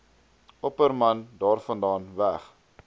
opperman daarvandaan weg